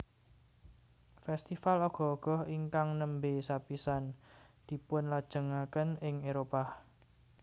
Festival Ogoh Ogoh ingkang nembe sapisan dipunlajengaken ing Éropah